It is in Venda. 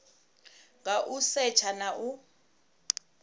nga u setsha na u